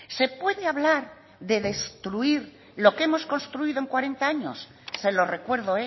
se puede hablar de destruir lo que hemos construido en cuarenta años se lo recuerdo